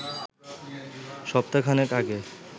সপ্তাহখানেক আগে